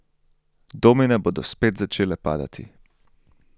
Domine bodo spet začele padati.